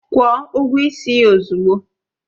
Kwuo ụgwọ ịsị ya ozugbo!